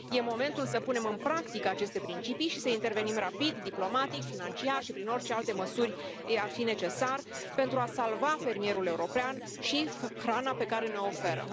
E momentul să punem în practică aceste principii și să intervenim rapid diplomatic, financiar și prin orice alte măsuri ar fi necesar pentru a salva fermierul european și hrana pe care ne o oferă.